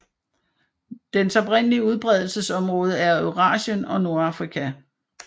Dens oprindelige udbredelsesområde er Eurasien og Nordafrika